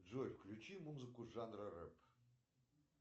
джой включи музыку жанра рэп